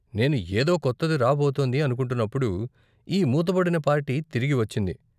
నేను ఏదో కొత్తది రాబోతోంది అనుకుంటున్నప్పుడు ఈ మూతబడిన పార్టీ తిరిగి వచ్చింది.